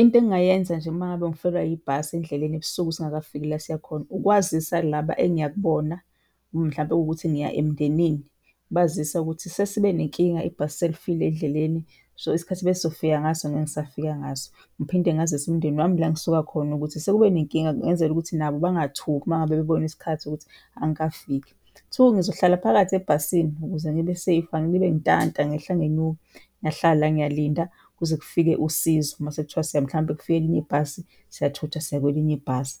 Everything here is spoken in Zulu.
Into engingayenza nje uma ngabe ngifelwa yibhasi endleleni ebusuku singakafiki la esiyakhona, ukwazisa laba engiyakubona mhlawumpe kuwukuthi ngiya emndenini, ngibazisa ukuthi sesibe nenkinga ibhasi selifile endleleni so isikhathi ebesizofika ngaso ngeke ngisafika ngaso. Ngiphinde ngazise umndeni wami la engisuka khona ukuthi sekube nenkinga ngenzela ukuthi nabo bangathuki uma ngabe bebona isikhathi ukuthi angikafiki. Two, ngizohlala phakathi ebhasini ukuze ngibe-safe, angilibe ngintanta ngehla ngenyuka. Ngiyahlala, ngiyalinda kuze kufike usizo mase kuthiwa mhlawumpe kufika elinye ibhasi, siyathutha siya kwelinye ibhasi.